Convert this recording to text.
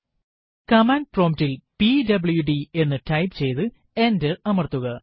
command പ്രോംറ്റിൽ PWD എന്ന് type ചെയ്തു എന്റർ അമർത്തുക